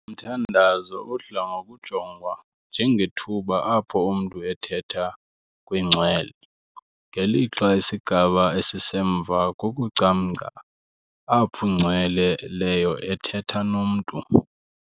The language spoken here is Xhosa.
Umthandazo udla ngokujongwa njengethuba apho umntu 'ethetha' kwingcwele, ngelixa isigaba esisemva kukucamngca, apho 'ingcwele' leyo 'ethetha' nomntu.